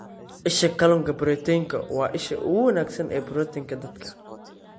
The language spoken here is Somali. Isha Kalluunka Proteinku waa isha ugu wanaagsan ee borotiinka dadka.